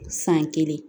San kelen